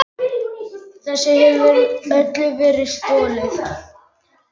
Þessu hefur öllu verið stolið!